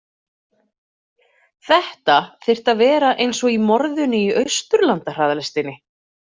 Þetta þyrfti að vera eins og í Morðinu í Austurlandahraðlestinni.